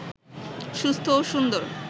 সুস্থ ও সুন্দর